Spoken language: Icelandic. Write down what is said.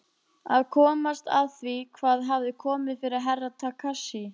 Að komast að því hvað hafði komið fyrir Herra Takashi.